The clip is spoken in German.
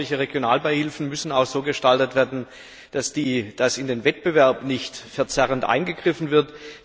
Aber solche Regionalbeihilfen müssen auch so gestaltet werden, dass in den Wettbewerb nicht verzerrend eingegriffen wird.